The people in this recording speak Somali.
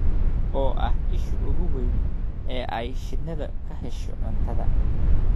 oo ah isha ugu weyn ee ay shinnidu ka hesho cuntada.